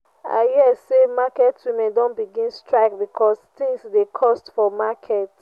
i hear sey market women don begin strike because tins dey cost for market.